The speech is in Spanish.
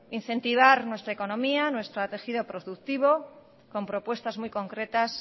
incentivar nuestra economía nuestro tejido productivo con propuestas muy concretas